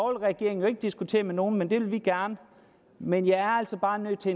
regering jo ikke diskutere med nogen men det vil vi gerne men jeg er altså bare nødt til